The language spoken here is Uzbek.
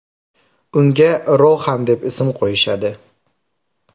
Unga Rohan deb ism qo‘yishadi.